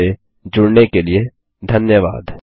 हमसे जुड़ने के लिए धन्यवाद